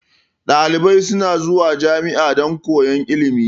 Dalibai suna zuwa jami'a dan koyan ilimi